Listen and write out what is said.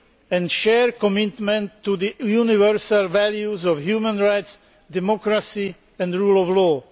and shared commitment to the universal values of human rights, democracy and the rule of law.